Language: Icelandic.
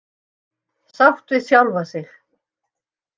Sátt við sjálfa sig.